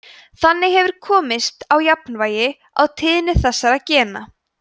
þannig hefur komist á jafnvægi á tíðni þessara gena